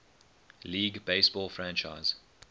league baseball franchise